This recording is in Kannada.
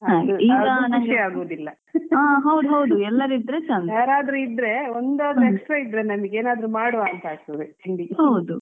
ಹಾಗೆ ಹೌದು ಹೌದು ಎಲ್ಲರಿದ್ರೆ ಚೆಂದ.